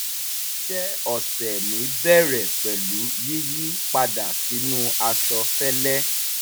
iṣẹ́ ọ̀sẹ̀ mi bẹ̀rẹ̀ pẹ̀lú yíyí padà sínú aṣọ fẹ́lẹ́